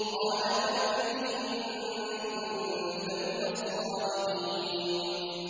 قَالَ فَأْتِ بِهِ إِن كُنتَ مِنَ الصَّادِقِينَ